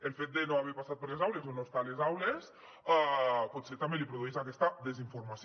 el fet de no haver passat per les aules o no estar a les aules potser també li produeix aquesta desinformació